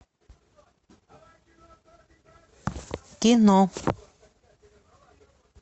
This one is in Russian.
кино